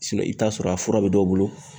Sinɔn i bi t'a sɔrɔ a fura be dɔw bolo